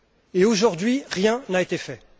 Et, aujourd'hui, rien n'a été fait.